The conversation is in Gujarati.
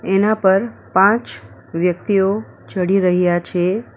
એના પર પાંચ વ્યકિતઓ ચડી રહ્યા છે.